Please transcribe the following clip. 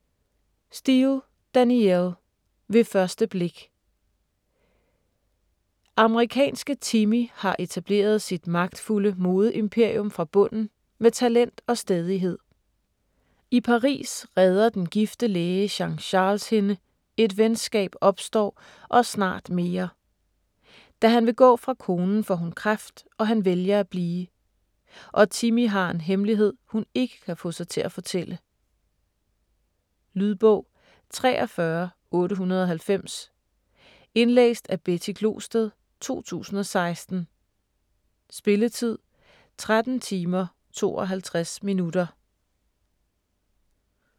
Steel, Danielle: Ved første blik Amerikanske Timmie har etableret sit magtfulde modeimperium fra bunden med talent og stædighed. I Paris redder den gifte læge Jean-Charles hende, et venskab opstår, og snart mere. Da han vil gå fra konen, får hun kræft, og han vælger at blive. Og Timmie har en hemmelighed, hun ikke kan få sig til at fortælle. Lydbog 43890 Indlæst af Betty Glosted, 2016. Spilletid: 13 timer, 52 minutter.